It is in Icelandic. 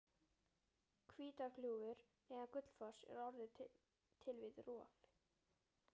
Hvítárgljúfur neðan Gullfoss er orðið til við rof